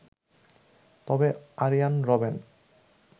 তবে আরিয়ান রবেন